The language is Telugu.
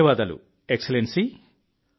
ధన్యవాదాలు ఎక్స్లెన్సీ